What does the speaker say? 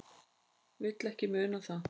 Vil ekki muna það.